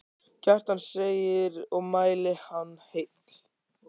Kjartan segir og mæli hann heill.